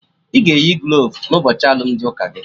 Ị ga-eyi glovu n'ụbọchị alụmdi ụka gị